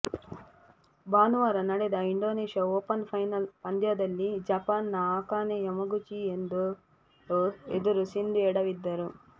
ಭಾನುವಾರ ನಡೆದ Indonesia open final ಪಂದ್ಯದಲ್ಲಿ ಜಪಾನ್ನ ಅಕಾನೆ ಯಮಗುಚಿ ಎದುರು ಸಿಂಧು ಎಡವಿದ್ದರು